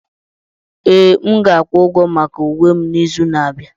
Ee, m ga-akwụ ụgwọ maka uwe m n'izu na-abịa.